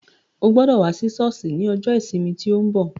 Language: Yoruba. Ó gbọ́dọ̀ wá sí sọ́ọ̀sì ní ọjọ́ ìsinmi tí ó ń bọ̀.